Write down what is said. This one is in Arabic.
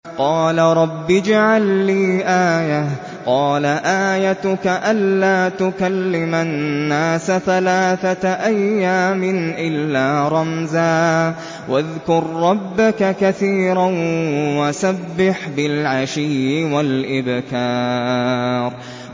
قَالَ رَبِّ اجْعَل لِّي آيَةً ۖ قَالَ آيَتُكَ أَلَّا تُكَلِّمَ النَّاسَ ثَلَاثَةَ أَيَّامٍ إِلَّا رَمْزًا ۗ وَاذْكُر رَّبَّكَ كَثِيرًا وَسَبِّحْ بِالْعَشِيِّ وَالْإِبْكَارِ